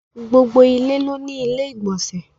Gbogbo ilé ló ní ilé-ìgbọ̀nsẹ̀